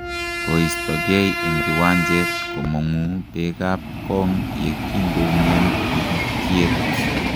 koistogei eng kiwanjet komong'u bekab kong ye kongoumian tikikiet.